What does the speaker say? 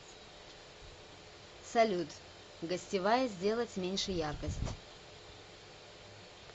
салют гостевая сделать меньше яркость